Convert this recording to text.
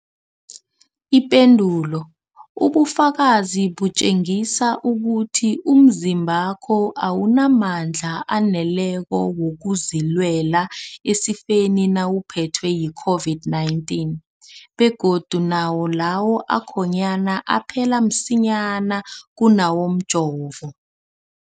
Ipendulo, ubufakazi butjengisa ukuthi umzimbakho awunamandla aneleko wokuzilwela esifeni nawuphethwe yi-COVID-19, begodu nawo lawo akhonyana aphela msinyana kunawomjovo.